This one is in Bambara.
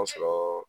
sɔrɔ